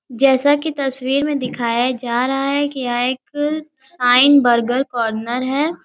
जैसा कि तस्वीर में दिखाया जा रहा हैकि यहाँ एक सिग्न बर्गर काॉर्नर है|